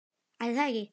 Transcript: Ætli það ekki.